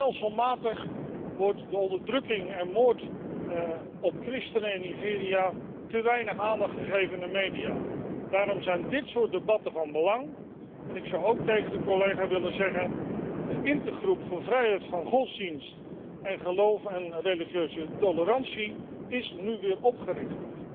Stelselmatig wordt aan de onderdrukking van en moord op christenen in Nigeria te weinig aandacht gegeven in de media. Daarom zijn dit soort debatten van belang. En ik zou ook tegen de collega willen zeggen de Intergroep voor vrijheid van godsdienst en geloof en religieuze tolerantie is nu weer opgericht.